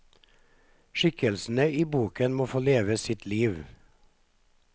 Skikkelsene i boken må få leve sitt liv.